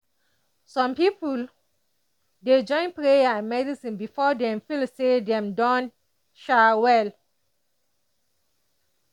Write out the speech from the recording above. some people dey join prayer and medicine before dem feel say dem don um well.